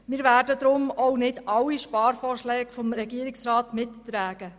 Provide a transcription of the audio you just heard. Wir werden deshalb auch nicht alle Sparvorschläge des Regierungsrats mittragen.